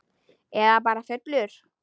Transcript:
Eða bara fullur.